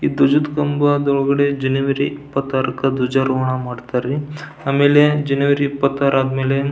ಈ ದ್ವಜಾದ್ ಕಂಬಾ ದೊಳಗಡೆ ಜನವರಿ ಇಪ್ಪತ್ತಾರಕ್ಕ ಧ್ವಜಾರೋಹಣ ಮಾಡ್ತರ್ ರೀ ಆಮೇಲೆ ಜನವರಿ ಇಪ್ಪತ್ತಾರ ಆದ್ಮೇಲೆಂ --